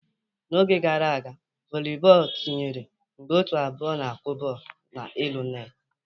N'oge gara aga, volibọọlụ tinyere mgbe ótù abụọ na-akụ bọọlụ n'elu netị.